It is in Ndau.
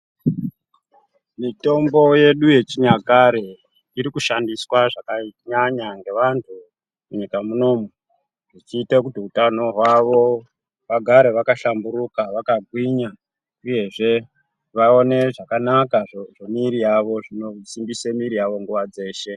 Mitombo yedu yechinyakare iri kushandiswa zvakanyanya ngevantu munyika munomu chiite kuti utano hwavo vagare vakahlamburuka vakagwinya uyezve vaone zvakanaka zvozvemiri yavo zvinosimbise miri yawo nguwa dzeshe.